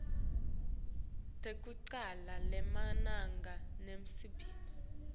tekucala temagama nesibongo